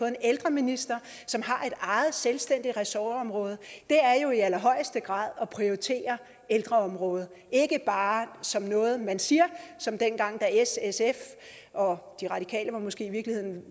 en ældreminister som har et selvstændigt ressortområde det er jo i allerhøjeste grad at prioritere ældreområdet ikke bare som noget man siger som dengang s sf og de radikale var måske i virkeligheden